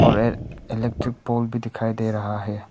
Electric pole भी दिखाई दे रहा है।